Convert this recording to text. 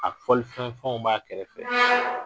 A fɔlifɛn fɛnw fenw b'a kɛrɛfɛ